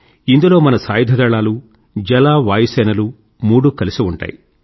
ఇందులో మన సాయుధదళాలు జల వాయు సేనలు మూడూ కలిసి ఉంటాయి